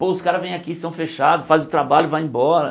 Pô, os caras vêm aqui, são fechados, faz o trabalho e vai embora.